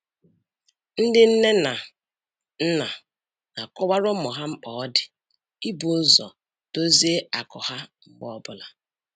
Ndị nne na nna na-akọwara ụmụ ha mkpa ọ dị ibu ụzọ dozie akụ ha mgbe ọbụla